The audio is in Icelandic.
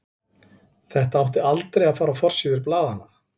Þetta átti aldrei að fara á forsíður blaðanna.